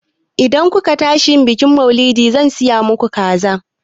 Idan ku ka tashi yin bikin maulidi, zan siya maku kaza